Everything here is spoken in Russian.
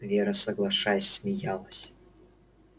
вера соглашаясь смеялась